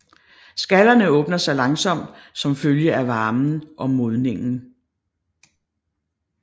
Skallerne åbner sig langsomt som følge af varmen og modningen